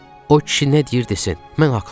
O kişi nə deyir desin, mən haqlıyam.